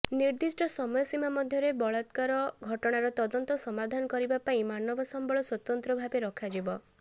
ନିର୍ଦ୍ଦିଷ୍ଟ ସମୟସୀମା ମଧ୍ୟରେ ବଳାକ୍ରାର ଘଟଣାର ତଦନ୍ତ ସମାଧାନ କରିବା ପାଇଁ ମାନବ ସମ୍ବଳ ସ୍ୱତନ୍ତ୍ରଭାବେ ରଖାଯିବ